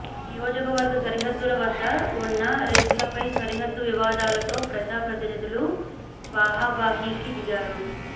నియోజకవర్గ సరిహద్దుల వద్ద ఉన్న రిచ్ లపై సరిహద్దు వివాదాలతో ప్రజా ప్రతినిదులు బాహాబాహీకి దిగారు